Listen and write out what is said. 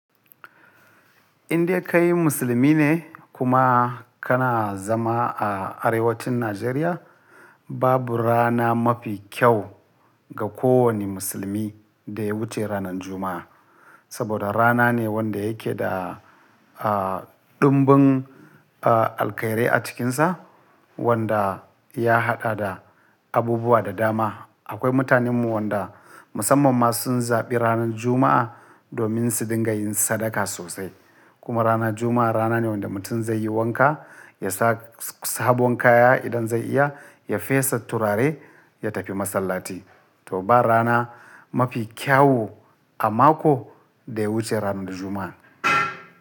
Inda kai musulmi ne kuma kana zama a arewacin Najeriya, babu rana mafi kyau ga kowane musulmi da ya wuce ranar Juma'a. Saboda rana ne wanda yake da, ah, dumbin, ah, alkhairai a cikinsa, wanda ya haɗa da abubuwa da dama. Akwai mutanenmu wanda musamman ma sun zaɓi ranar Juma'a domin su dinga yin sadaka sosai. Kuma ranar Juma'a rana ne wanda mutum zai yi wanka, ya sa sabon kaya idan zai iya, ya fesa turare, ya tafi masallaci. To ba rana mafi kyawu a mako da ya wuce ranar Juma'a.